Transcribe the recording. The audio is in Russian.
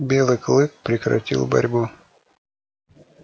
белый клык прекратил борьбу